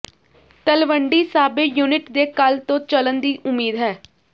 Talwandi Sabo unit ਦੇ ਕੱਲ੍ਹ ਤੋਂ ਚੱਲਣ ਦੀ ਉਮੀਦ ਹੈ